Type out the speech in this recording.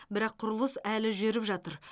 бірақ құрылыс әлі жүріп жатыр